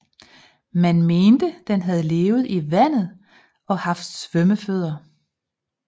Man mente den havde levet i vandet og haft svømmefødder